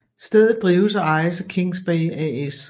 Stedet drives og ejes af Kings Bay AS